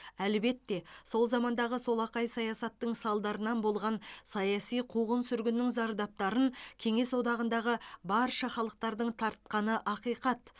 әлбетте сол замандағы солақай саясаттың салдарынан болған саяси қуғын сүргіннің зардаптарын кеңес одағындағы барша халықтардың тартқаны ақиқат